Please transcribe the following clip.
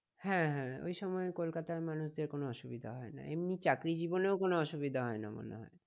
হ্যাঁ হ্যাঁ ওই সময় কলকাতার মানুষদের কোনো অসুবিধা হয় না, এমনি চাকরি জীবনেও কোনো অসুবিধা হয় না মনে হয়।